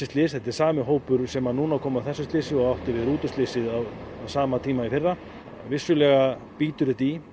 slys þetta er sami hópur sem að núna kom að þessu slysi og átti við rútuslysið á sama tíma í fyrra vissulega bítur þetta í